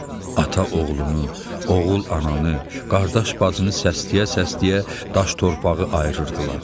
Ata oğlunu, oğul ananı, qardaş bacını səsləyə-səsləyə daş torpağı ayırırdılar.